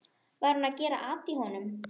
Var hún að gera at í honum?